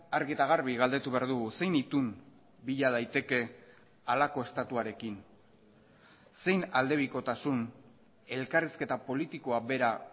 argi eta garbi galdetu behar dugu zein itun bila daiteke halako estatuarekin zein aldebikotasun elkarrizketa politikoa bera